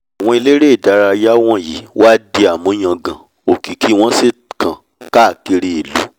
àwọn elére ìdárayá wọ̀nyí wá di àmúyangàn òkìkí wọ́n sì kàn káàkiri ìlú